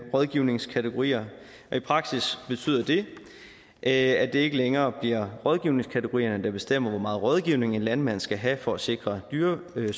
rådgivningskategorier i praksis betyder det at det ikke længere bliver rådgivningskategorierne der bestemmer hvor meget rådgivning en landmand skal have for at sikre dyresundhed